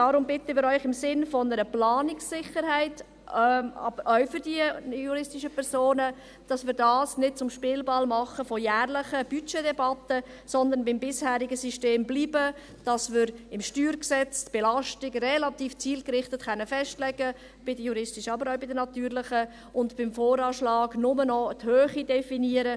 Deshalb bitten wir Sie im Sinne einer Planungssicherheit, auch für die juristischen Personen, dass wir dies nicht zum Spielball jährlicher Budgetdebatten machen, sondern beim bisherigen System bleiben, dass wir im StG die Belastung bei den juristischen, aber auch bei den natürlichen Personen relativ zielgerichtet festlegen können und beim VA nur noch die Höhe definieren.